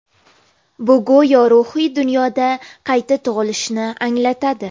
Bu go‘yo ruhiy dunyoda qayta tug‘ilishni anglatadi.